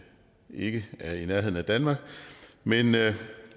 ikke er i nærheden af danmark men